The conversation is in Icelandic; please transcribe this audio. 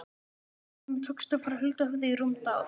Honum tókst að fara huldu höfði í rúmt ár.